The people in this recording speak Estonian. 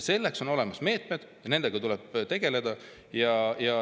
Selleks on olemas meetmed ja nendega tuleb tegeleda.